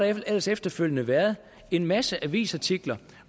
ellers efterfølgende været en masse avisartikler